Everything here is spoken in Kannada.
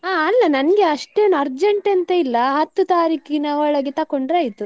ಹಾ ಅಲ್ಲಾ ನಂಗೆ ಅಷ್ಟೇನೂ urgent ಅಂತ ಇಲ್ಲ, ಹತ್ತು ತಾರೀಕಿನ ಒಳಗೆ ತಕೊಂಡ್ರೆ ಆಯ್ತು.